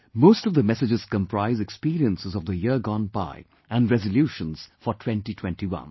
Most of the messages comprise experiences of the year gone by and resolutions for 2021